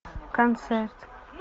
концерт